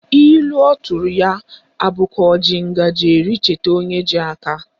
Ilu ọtụrụ ya abụ ka o ji ngaji eri chetakwa onye ji aka?